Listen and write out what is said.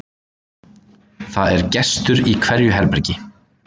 Það er gestur í hverju herbergi.